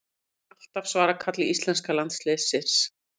Mun alltaf svara kalli íslenska landsliðsins